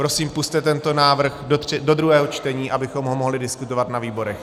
Prosím, pusťte tento návrh do druhého čtení, abychom ho mohli diskutovat na výborech.